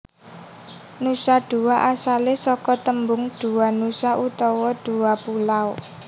Nusa Dua asalé saka tembung Dua Nusa utawa dua pulau